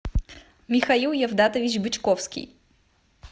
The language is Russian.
михаил евдатович бычковский